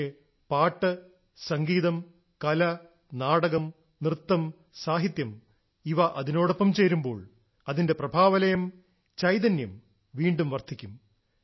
പക്ഷേ പാട്ട് സംഗീതം കല നാടകം നൃത്തംസാഹിത്യം ഇവ അതിനോടൊപ്പം ചേരുമ്പോൾ അതിന്റെ പ്രഭാവലയം ചൈതന്യം വീണ്ടും വർദ്ധിക്കും